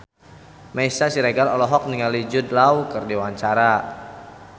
Meisya Siregar olohok ningali Jude Law keur diwawancara